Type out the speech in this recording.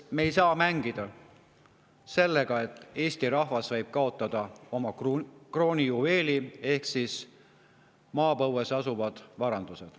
Me ei saa mängida sellega, et Eesti rahvas võib kaotada oma kroonijuveeli ehk maapõues asuvad varandused.